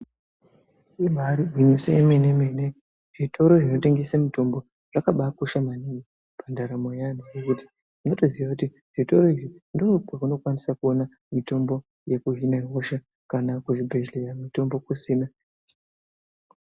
Ibaari gwinyiso yemenemene zvitoro zvinotengese mitombo zvakabaakosha maningi pandaramo yeanthu ngekuti unotoziya kuti zvitoro izvi ndookwaunokwanisa kuona mutombo yekuhina hosha kana kuzvibhedhleya mutombo kusina.